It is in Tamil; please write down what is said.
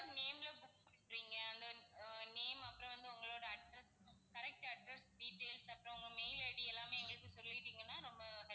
name name அப்பறம் வந்து உங்களோட address correct address details அப்பறம் உங்க mail ID எல்லாமே எங்களுக்கு சொல்லிட்டீங்கன்னா நம்ம